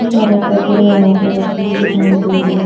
बहुत सारे कपड़े यहां पर रखे हुए दिखाई दे रहे हैं।